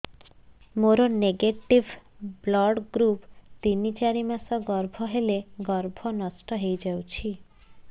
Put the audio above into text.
ମୋର negative blood group ତିନ ଚାରି ମାସ ଗର୍ଭ ହେଲେ ଗର୍ଭ ନଷ୍ଟ ହେଇଯାଉଛି